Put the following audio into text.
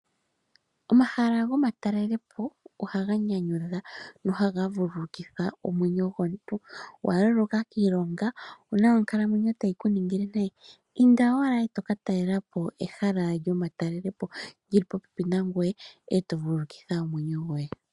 Omahala gomatalele po ohaga nyanyudha nohaga vululukitha omwenyo omuntu ongele owa loloka kiilonga, owuna onkalamwenyo tayi ku ningile nayi, inda owala eto ka talela po ehala lyoma talele po lyili po pepi nangoye eto vululukitha omwenyo goye.